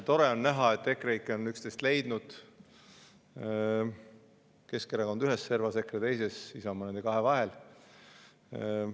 Tore on näha, et EKREIKE on üksteist leidnud, Keskerakond ühes servas, EKRE teises, Isamaa nende kahe vahel.